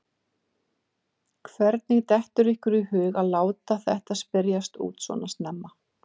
Hvernig dettur ykkur í hug að láta þetta spyrjast út svona snemma?